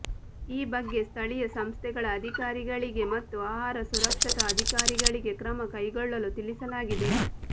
ಈ ಬಗ್ಗೆ ಸ್ಥಳೀಯ ಸಂಸ್ಥೆಗಳ ಅಧಿಕಾರಿಗಳಿಗೆ ಮತ್ತು ಆಹಾರ ಸುರಕ್ಷತಾ ಅಧಿಕಾರಿಗಳಿಗೆ ಕ್ರಮ ಕೈಗೊಳ್ಳಲು ತಿಳಿಸಲಾಗಿದೆ